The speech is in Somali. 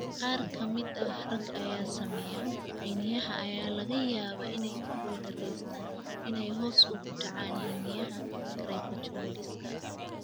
Qaar ka mid ah ragga ay saameeyeen, xiniinyaha ayaa laga yaabaa inay ku guuldareystaan ​​inay hoos ugu dhacaan xiniinyaha (cryptorchidismka).